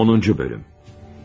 10-cu bölüm.